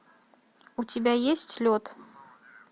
у тебя есть лед